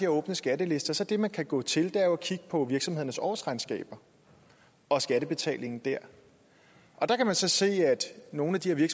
åbne skattelister så er det man kan gå til jo at kigge på virksomhedernes årsregnskaber og skattebetalingen der der kan man så se at nogle af de her